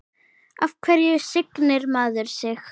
Af hverju signir maður sig?